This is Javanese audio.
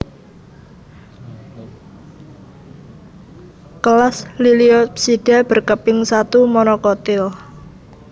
Kelas Liliopsida berkeping satu monokotil